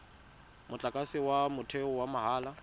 motlakase wa motheo wa mahala